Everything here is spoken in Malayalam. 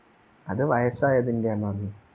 അത് വയസ്സായതിന്റെയാ മമ്മി